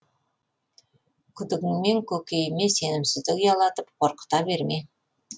күдігіңмен көкейіме сенімсіздік ұялатып қорқыта берме